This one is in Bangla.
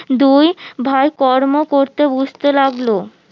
দুই ভাই কর্ম করতে বুঝতে লাগলো